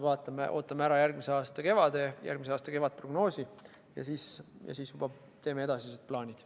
Me ootame ära järgmise aasta kevadprognoosi ja siis teeme edasised plaanid.